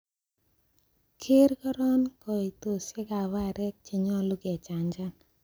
Keer koron koitosiek ab aarek che nyolu kechanchan.